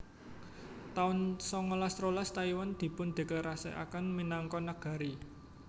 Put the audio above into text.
taun songolas rolas Taiwan dipundéklarasèkaken minangka negari